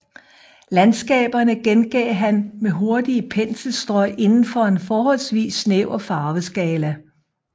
Landskaberne gengav han med hurtige penselstrøg inden for en forholdsvis snæver farveskala